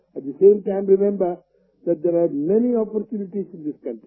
eighty the same time remember that there are many opportunities in this country